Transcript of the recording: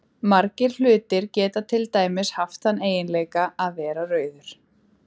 Margir hlutir geta til dæmis haft þann eiginleika að vera rauður.